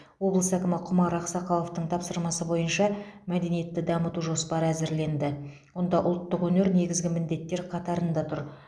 облыс әкімі құмар ақсақаловтың тапсырмасы бойынша мәдениетті дамыту жоспары әзірленді онда ұлттық өнер негізгі міндеттер қатарында тұр